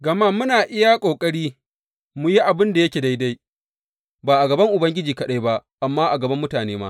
Gama muna iya ƙoƙari mu yi abin da yake daidai, ba a gaban Ubangiji kaɗai ba, amma a gaban mutane ma.